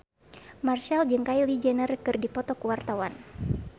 Marchell jeung Kylie Jenner keur dipoto ku wartawan